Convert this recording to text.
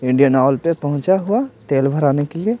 Indian Oil पे पहुंचा हुआ तेल भराने के लिए--